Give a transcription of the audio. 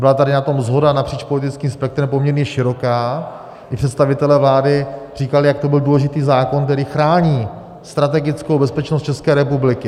Byla tady na tom shoda napříč politickým spektrem poměrně široká, kdy představitelé vlády říkali, jak to byl důležitý zákon, který chrání strategickou bezpečnost České republiky.